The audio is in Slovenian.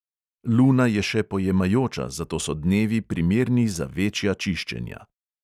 Luna je še pojemajoča, zato so dnevi primerni za večja čiščenja.